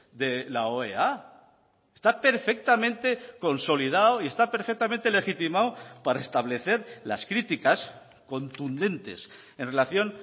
de la oea está perfectamente consolidado y está perfectamente legitimado para establecer las críticas contundentes en relación